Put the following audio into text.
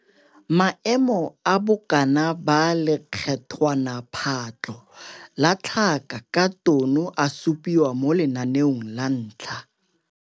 Maemo a bokana ba lekgethwanaphatlho la tlhaka ka tono a supiwa mo Lenaneo la 1 -